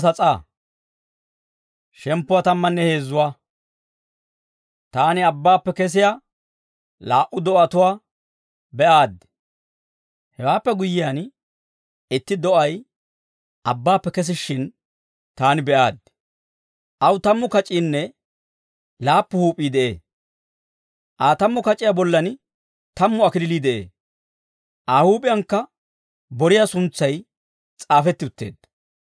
Hewaappe guyyiyaan, itti do'ay abbaappe kesishshin, taani be'aaddi. Aw tammu kac'iinne laappu huup'ii de'ee; Aa tammu kac'iyaa bollan tammu kalachchay de'ee. Aa huup'iyankka boriyaa suntsay s'aafetti utteedda.